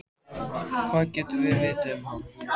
Hvað getum við vitað um hann?